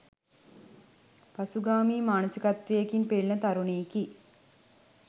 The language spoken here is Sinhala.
පසුගාමී මානසිකත්වයකින් පෙළෙන තරුණයෙකි